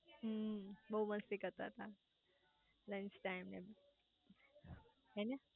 હમ્મ બહુ મસ્તી કરતા તા લન્ચ ટાઈમે